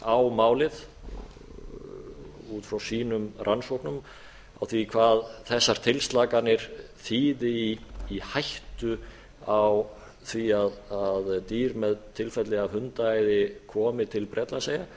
á málið út frá sínum rannsóknum á því hvað þessar tilslakanir þýði í hættu á því að dýr með tilfelli af hundaæði komi til bretlandseyja